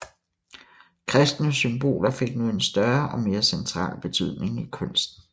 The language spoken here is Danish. Kristne symboler fik nu en større og mere central betydning i kunsten